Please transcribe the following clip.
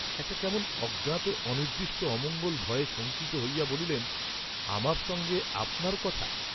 একটা কেমন অজ্ঞাত অনির্দ্দিষ্ট অমঙ্গল ভয়ে শঙ্কিত হইয়া বলিলেন আমার সঙ্গে আপনার কথা!